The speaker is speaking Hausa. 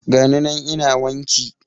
Gani nan ina wanki